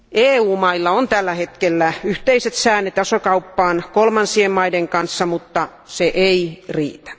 EU mailla on tällä hetkellä yhteiset säännöt asekauppaan kolmansien maiden kanssa, mutta se ei riitä.